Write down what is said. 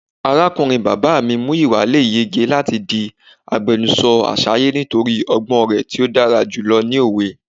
Arakunrin baba mi Muyiwa le yege lati di agbẹnusọ Asaye nitori ọgbọn rẹ ti odara julọ ni owe.